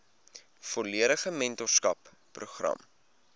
volledige mentorskap program